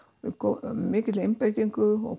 af mikilli einbeitingu og